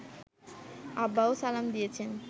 আব্বাও সালামি দিয়েছেন